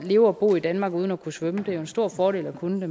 leve og bo i danmark uden at kunne svømme det er jo en stor fordel at kunne